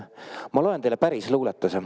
Ma loen teile päris luuletuse.